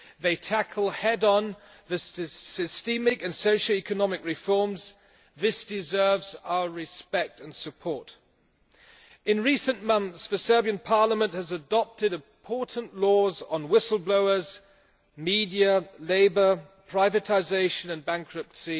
They tackle head on the systemic and socio-economic reforms this deserves our respect and support. In recent months, the Serbian Parliament has adopted important laws on whistle-blowers, media, labour, privatisation and bankruptcy